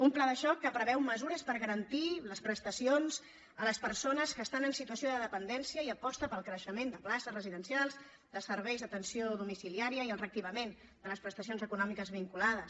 un pla de xoc que preveu mesures per garantir les prestacions a les persones que estan en situació de dependència i aposta pel creixement de places residencials de serveis d’atenció domiciliària i el reactivament de les prestacions econòmiques vinculades